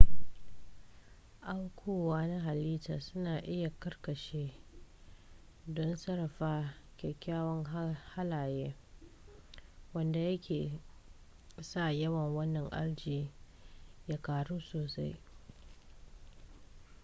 aukuwa na halitta suna iya karkace don sarrafa kyakkyawan halaye wanda yake sa yawan wannan algae ya ƙaru sosai